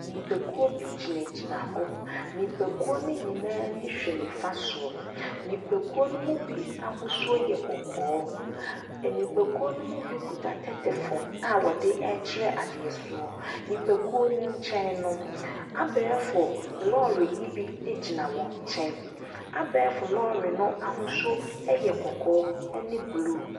Nnipakuo bi gyinagyina hɔ. Nnipakuo no nyinaa ani hwɛ nifa so. Nnipakuo no mu bi ahosuo yɛ kɔkɔɔ. Nnipakuo no mu bi kuta tɛtɛphone a wɔre rekyerɛ adeɛ. Nnipakuo no nkyɛn no, abɛɛfo lɔɔre yi bi gyina wɔn nkyɛn. Abɛɛfo lɔɔre no ahosuo yɛ kɔkɔɔ ne blue.